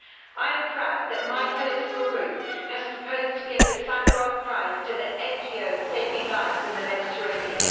I am proud that my political group has proposed to give the Sakharov Prize to the NGOs saving lives in the Mediterranean.